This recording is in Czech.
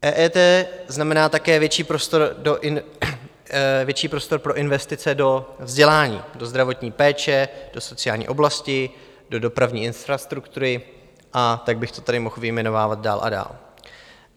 EET znamená také větší prostor pro investice do vzdělání, do zdravotní péče, do sociální oblasti, do dopravní infrastruktury a tak bych to tady mohl vyjmenovávat dál a dál.